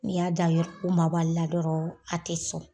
N'i y'a dan k'u mabɔ a le la dɔrɔn a tɛ sɔn.